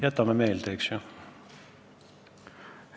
Jätame meelde, eks?